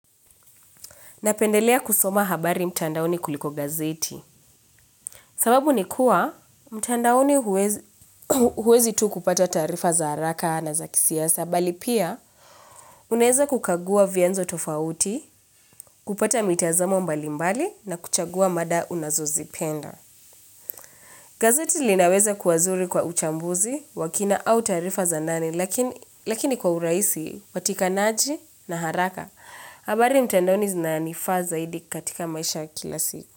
Napendelea kusoma habari mtandaoni kuliko gazeti. Sababu ni kuwa, mtandaoni huwezi tu kupata taarifa za haraka na za kisiasa. Na bali pia, unaeza kukagua vianzo tofauti, kupata mitazamo mbalimbali na kuchagua mada unazozipenda. Gazeti linaweza kuwa zuri kwa uchambuzi wa kina au taarifa za nani, lakini kwa urahisi watikanaji na haraka. Habari mtandaoni zinanifaa zaidi katika maisha ya kila siku.